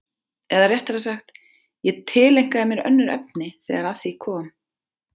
Eða réttara sagt, ég tileinkaði mér önnur efni þegar að því kom.